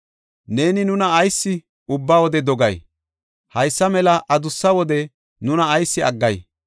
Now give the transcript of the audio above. Neeni nuna ayis ubba wode dogay? haysa mela adussa wode nuna ayis aggay?